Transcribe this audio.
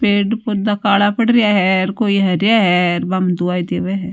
पेड़ पोधा काला पड़ रेया है कोई हरया है बाम दुवाई देवे है।